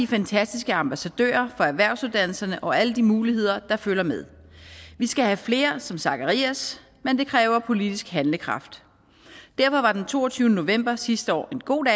fantastiske ambassadører for erhvervsuddannelserne og alle de muligheder der følger med vi skal have flere som zacharias men det kræver politisk handlekraft derfor var den toogtyvende november sidste år en god